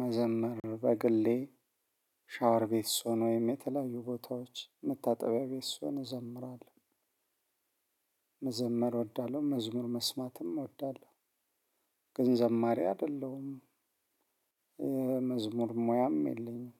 መዘመር በግሌ ሻወር ቤት ስሆን ወይም የተለያዩ ቦታዎች መታጠቢያ ቤት ስሆን እዘምራለሁ። መዘመር እወዳለሁ መዝሙር መስማትም እወዳለሁ። ገን ዘማሪ አደለሁም። መዝሙር ሙያም የለኝም።